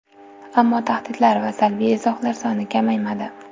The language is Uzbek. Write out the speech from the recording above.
Ammo tahdidlar va salbiy izohlar soni kamaymadi.